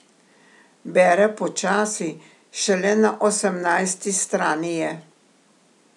Bere počasi, šele na osemnajsti strani je.